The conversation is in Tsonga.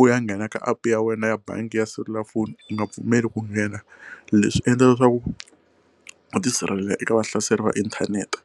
u ya nghena ka app ya wena ya bangi ya selulafoni u nga pfumeli ku nghena leswi endla leswaku u tisirhelela eka vahlaseri va inthanete.